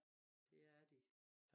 Det er de